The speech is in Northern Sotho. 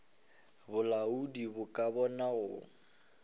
bolaodi bo ka bona go